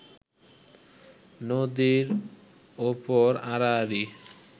নদীর ওপর আড়াআড়ি